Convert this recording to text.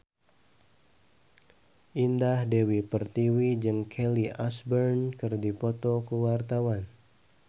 Indah Dewi Pertiwi jeung Kelly Osbourne keur dipoto ku wartawan